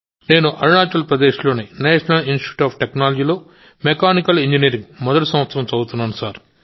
నేను అరుణాచల్ ప్రదేశ్లోని national institute of టెక్నాలజీలో మెకానికల్ ఇంజనీరింగ్ మొదటి సంవత్సరం చదువుతున్నాను